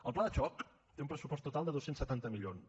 el pla de xoc té un pressupost total de dos cents i setanta milions